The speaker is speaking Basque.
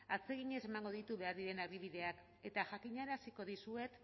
atseginez emango ditut behar diren adibideak eta jakinaraziko dizuet